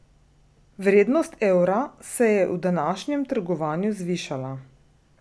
Vrednost evra se je v današnjem trgovanju zvišala.